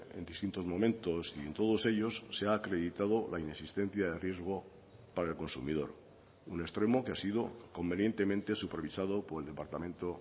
en distintos momentos y en todos ellos se ha acreditado la inexistencia de riesgo para el consumidor un extremo que ha sido convenientemente supervisado por el departamento